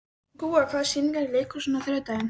Gúa, hvaða sýningar eru í leikhúsinu á þriðjudaginn?